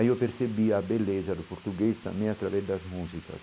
Aí eu percebi a beleza do português também através das músicas.